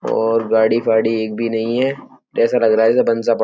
और गाड़ी फाड़ी एक भी नहीं है। जैसा लग रहा --